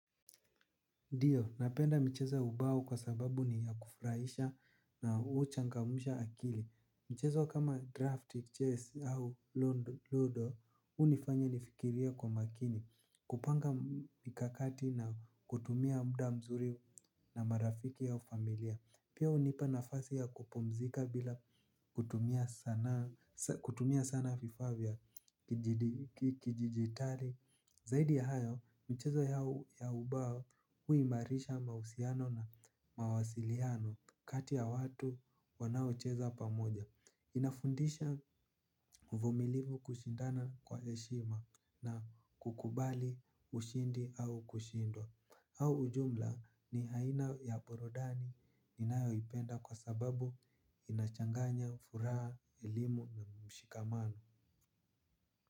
Ndio, napenda michezo ya ubao kwa sababu ni ya kufurahisha na huchangamsha akili. Michezo kama draft, chess au ludo, hunifanya nifikirie kwa makini. Kupanga mikakati na kutumia muda mzuri na marafiki au familia. Pia hunipa nafasi ya kupumzika bila kutumia sana vifaa vya kidijitali. Zaidi ya hayo, michezo ya ubao huimarisha mahusiano na mawasiliano kati ya watu wanaocheza pamoja. Inafundisha uvumilivu, kushindana kwa heshima na kukubali ushindi au kushindwa. Au ujumla ni aina ya burudani ninayoipenda kwa sababu inachanganya furaha, elimu na mshikamano.